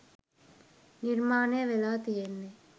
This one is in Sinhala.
නිර්මාණය වෙලා තියෙන්නේ